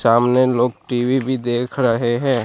सामने लोग टी_वी भी देख रहे हैं।